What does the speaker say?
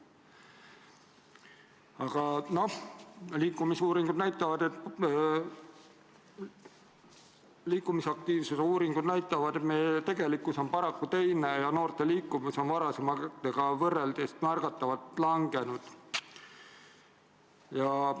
Aga liikumisaktiivsuse uuringud näitavad, et tegelikkus on paraku teine ja noorte liikuvus on varasemaga võrreldes märgatavalt vähenenud.